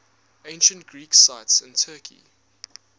ancient greek sites in turkey